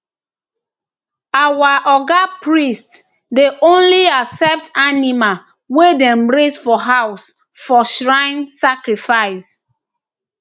our oga priest dey only accept animal wey dem raise for house for shrine sacrifice